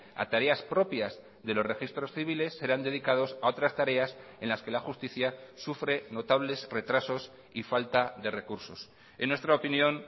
a tareas propias de los registros civiles serán dedicados a otras tareas en las que la justicia sufre notables retrasos y falta de recursos en nuestra opinión